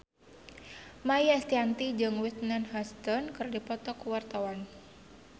Maia Estianty jeung Whitney Houston keur dipoto ku wartawan